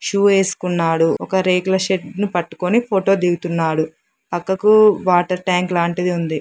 Shoe వేసుకున్నాడు ఒక రేకుల షెడ్డు ను పట్టుకొని ఫోటో దిగుతున్నాడు. పక్కకు వాటర్ ట్యాంక్ లాంటిది ఉంది.